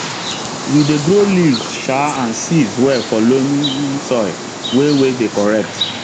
we dey grow leaves um and seeds well for loamy um soil wey wey dey correct